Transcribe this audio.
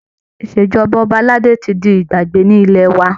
Ìṣèjọba ọba aládé tí di ìgbàgbé ní ilẹ̀ wa